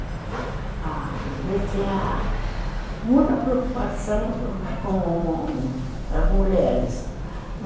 Ele tinha muita preocupação com com as mulheres.